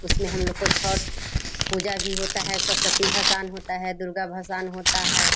इसमे हमलोग का छठ पूजा भी होता है सरस्वती होता है दुर्गा होता है।